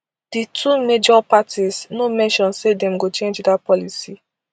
di two major parties no mention say dem go change dat policy